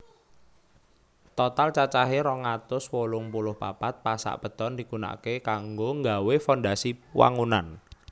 Total cacahe rong atus wolung puluh papat pasak beton digunakake kanggo nggawé fondasi wangunan